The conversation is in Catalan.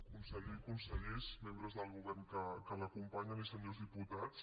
conseller consellers membres del govern que l’acompanyen i senyors diputats